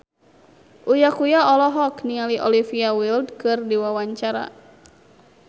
Uya Kuya olohok ningali Olivia Wilde keur diwawancara